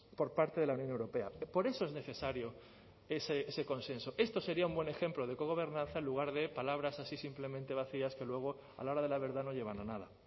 por parte de la unión europea por eso es necesario ese consenso esto sería un buen ejemplo de cogobernanza en lugar de palabras así simplemente vacías que luego a la hora de la verdad no llevan a nada